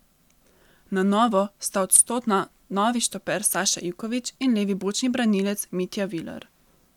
Na novo sta odstotna novi štoper Saša Ivković in levi bočni branilec Mitja Viler.